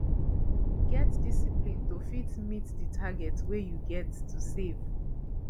get discipline to fit meet di target wey you get to save